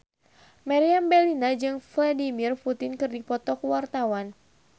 Meriam Bellina jeung Vladimir Putin keur dipoto ku wartawan